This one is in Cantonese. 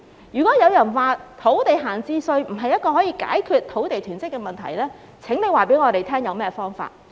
如果有人說設置土地閒置稅並不能解決土地囤積的問題，那請他們告訴我們有何方法。